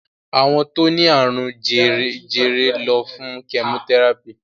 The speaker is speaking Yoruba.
Àwọn tó ní àrùn jèrè jèrè ló fún chemotherapy.